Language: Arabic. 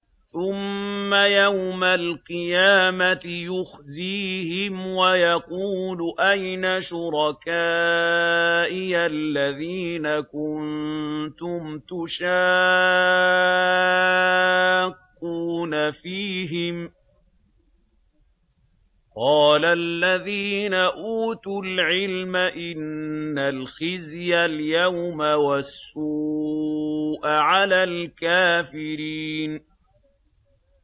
ثُمَّ يَوْمَ الْقِيَامَةِ يُخْزِيهِمْ وَيَقُولُ أَيْنَ شُرَكَائِيَ الَّذِينَ كُنتُمْ تُشَاقُّونَ فِيهِمْ ۚ قَالَ الَّذِينَ أُوتُوا الْعِلْمَ إِنَّ الْخِزْيَ الْيَوْمَ وَالسُّوءَ عَلَى الْكَافِرِينَ